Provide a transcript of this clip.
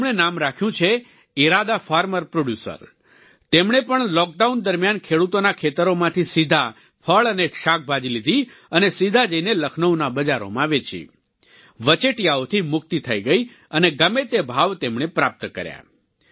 તેમણે નામ રાખ્યું છે ઈરાદા ફાર્મર પ્રોડ્યુસર તેમણે પણ લોકડાઉન દરમિયાન ખેડૂતોના ખેતરોમાંથી સીધા ફળ અને શાકભાજી લીધી અને સીધા જઈને લખનૌના બજારોમાં વેચી વચેટિયાઓથી મુક્તિ થઈ ગઈ અને ગમે તે ભાવ તેમણે પ્રાપ્ત કર્યા